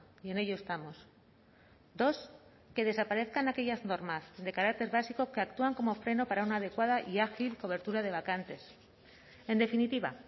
y en ello estamos dos que desaparezcan aquellas normas de carácter básico que actúan como freno para una adecuada y ágil cobertura de vacantes en definitiva